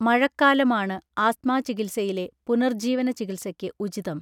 മഴക്കാലമാണ് ആസ്ത്മാചികിത്സയിലെ പുനർജീവനചികിത്സക്ക് ഉചിതം